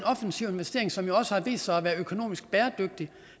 offensiv investering som jo også har vist sig at være økonomisk bæredygtig